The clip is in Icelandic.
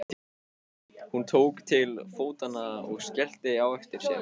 Hún tók til fótanna og skellti á eftir sér.